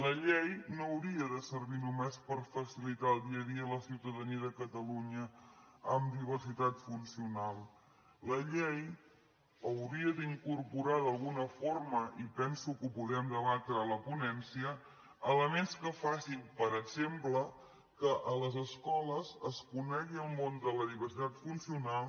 la llei no hauria de servir només per facilitar el dia a dia a la ciutadania de catalunya amb diversitat funcional la llei hauria d’incorporar d’alguna forma i penso que ho podrem debatre a la ponència elements que facin per exemple que a les escoles es conegui el món de la diversitat funcional